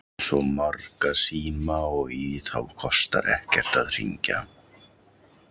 Þú átt svo marga síma og í þá kostar ekkert að hringja.